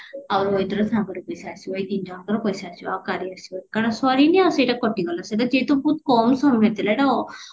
ଆଉ ରୋହିତର ସାଙ୍ଗର ପଇସା ଆସିବ ଏଇ ତିନିଜଣଙ୍କର ପଇସା ଆସିବା ଆଉ କାହାରି ଆସିବାନି କାରଣ ସରିଣୀ ଆଉ ସେଇଟା କଟିଗଲା ସେଟା ଯେହେତୁ ବହୁତ କମ ସମୟ ଥିଲା ଏଇଟା ଅ